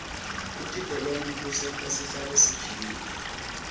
kutilolonga kusenta sihlale siphilile